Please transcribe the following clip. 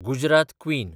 Gujarat queen